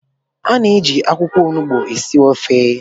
A na-eji akwụkwọ onugbu esi ofe